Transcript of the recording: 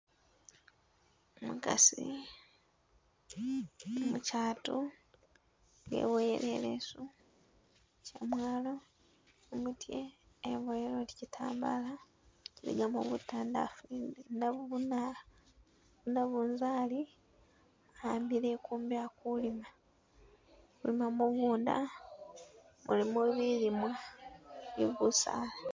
Umukasi, umukyatu weboyele ileesu shyamwalo, kumutye eboyele oti kitambala nenga mubutandafu nabubuna, nabunzali ambile ikumbi akulima, alima mugunda mulimo bilimwa ni busaala